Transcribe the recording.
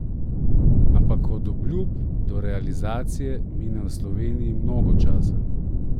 Ampak od obljub do realizacije mine v Sloveniji mnogo časa.